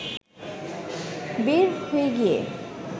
বের হয়ে গিয়ে